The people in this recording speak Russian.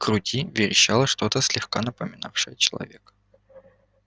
крути верещало что-то слегка напоминавшее человека